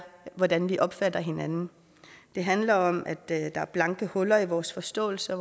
hvordan vi opfatter hinanden det handler om at der er huller i vores forståelse